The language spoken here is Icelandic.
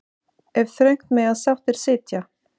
En þröngt mega sáttir sitja.